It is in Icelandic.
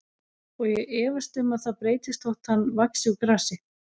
Og ég efast um að það breytist þótt hann vaxi úr grasi.